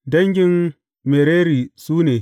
Dangin Merari su ne.